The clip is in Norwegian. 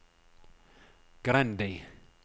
Grendi